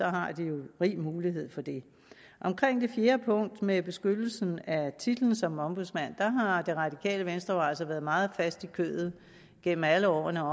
har de rig mulighed for det omkring det fjerde punkt med beskyttelsen af titlen som ombudsmand har det radikale venstre jo altså været meget fast i kødet gennem alle årene